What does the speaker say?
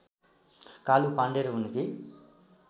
कालु पाँडे र उनकी